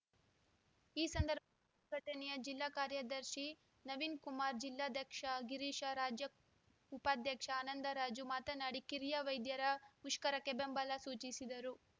ಈ ಸಂದರ್ಭ ದಣ್ಯ್ ಸಂಘಟನೆಯ ಜಿಲ್ಲಾ ಕಾರ್ಯದರ್ಶಿ ನವೀನ್‌ಕುಮಾರ ಜಿಲ್ಲಾಧ್ಯಕ್ಷ ಗಿರೀಶ ರಾಜ್ಯ ಉಪಾಧ್ಯಕ್ಷ ಆನಂದರಾಜು ಮಾತನಾಡಿ ಕಿರಿಯ ವೈದ್ಯರ ಮುಷ್ಕರಕ್ಕೆ ಬೆಂಬಲ ಸೂಚಿಸಿದರು